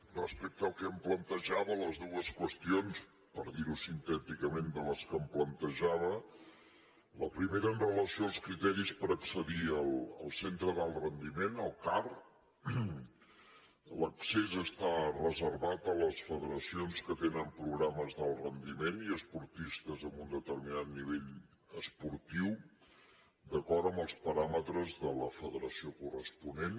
respecte al que em plantejava les dues qüestions per dir ho sintèticament de les que em plantejava la primera amb relació als criteris per accedir al centre d’alt rendiment el car l’accés està reservat a les federacions que tenen programes d’alt rendiment i a esportistes amb un determinat nivell esportiu d’acord amb els paràmetres de la federació corresponent